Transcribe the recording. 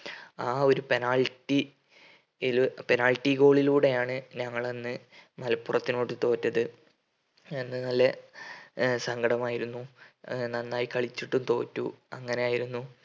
ആ ഒരു penalty ൽ penalty goal ലൂടെയാണ് ഞങ്ങള് അന്ന് മലപ്പുറത്തിനോട് തോറ്റത് എന്നാലെ ഏർ സങ്കടം ആയിരുന്നു ഏർ നന്നായി കളിച്ചിട്ടും തോറ്റു അങ്ങനെ ആയിരുന്നു